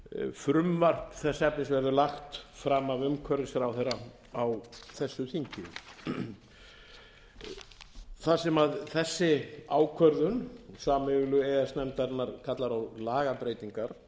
frumvarp þess efnis verður lagt fram af umhverfisráðherra á þessu þingi þar sem þessi ákvörðun sameiginlegu e e s nefndarinnar kallar á lagabreytingar hér á landi eins og ég hef þegar gert grein